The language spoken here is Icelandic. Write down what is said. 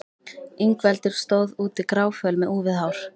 Ingveldur stóð úti gráföl með úfið hár.